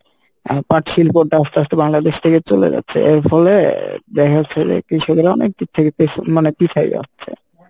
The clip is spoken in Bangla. আহ পাট শিল্পটা আস্তে আস্তে বাংলাদেশ থেকে চলে যাচ্ছে এরফলে দেখা যাচ্ছে যে কৃষকেরা অনেক দিক থেকে পেছ মানে পিছায় যাচ্ছে।